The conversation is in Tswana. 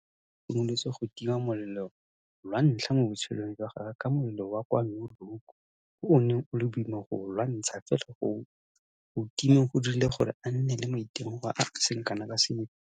Arendse a re o simolotse go tima molelo lwa ntlha mo botshelong jwa gagwe ka molelo wa kwa Noordhoek o o neng o le boima go o lwantsha fela go o timeng go dirile gore a nne le maitemogelo a a seng kana ka sepe.